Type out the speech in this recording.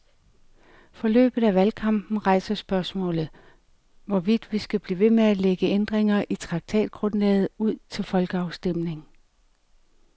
Forløbet af valgkampen rejser spørgsmålet, hvorvidt vi skal blive ved med at lægge ændringer i traktatgrundlaget ud til folkeafstemning.